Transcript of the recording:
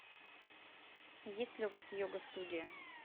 есть ли у вас йога студия